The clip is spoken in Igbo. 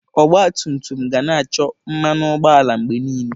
Ọgba tum tum ga na-achọ mmanụ ụgbọala mgbe niile.